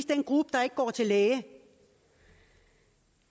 den gruppe der ikke går til læge